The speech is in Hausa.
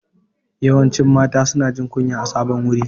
Yawancin mata su na jin kunya a sabon wuri